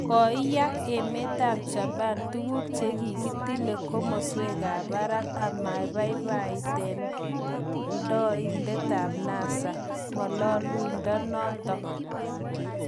Koiyak emetap Japan tuguuk che kitilile komaswekap parak amaipaipaitkandoikap NASA ng'aliondonotok